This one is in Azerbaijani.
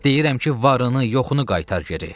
Deyirəm ki, varını, yoxunu qaytar geri.